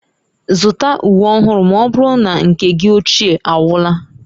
Zụta uwe ọhụrụ ma ọ bụrụ na nke gị ochie agwụla